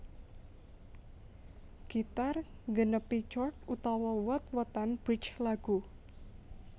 Gitar nggenepi chord utawa wot wotan bridge lagu